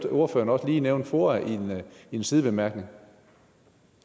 ordføreren nævne foa i en sidebemærkning